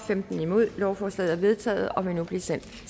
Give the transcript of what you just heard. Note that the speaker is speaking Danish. eller imod stemte lovforslaget er vedtaget og vil nu blive sendt